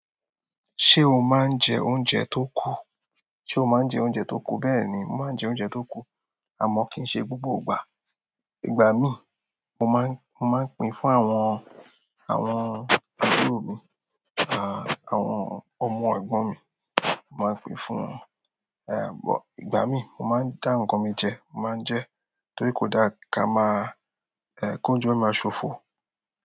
Ṣé o máa ń jẹ oúnjẹ tó kù? Sé o máa ń jẹ oúnjẹ tó kù? Bẹ́ẹ̀ ni, mo máa ń jẹ oúnjẹ tó kù àmọ́ kì í ṣe gbogbo ìgbà. Ìgbà mí, mo máa ń, mo máa ń pín fún àwọn, àwọn ẹbí mi, àwọn ọmọ ẹ̀gbọ́n mi. Mo máa ń pín fún wọn. Eh, àmọ́ ìgbà mí, mo máa ń dá ǹkan mi jẹ, mo máa ń jẹ́ torí kò dára ká máa, eh, kó jó máa ṣòfò.